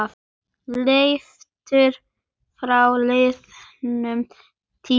Leiftur frá liðnum tíma.